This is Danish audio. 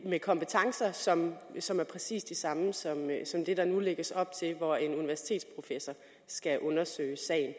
med kompetencer som som er præcis de samme som det der nu lægges op til hvor en universitetsprofessor skal undersøge sagen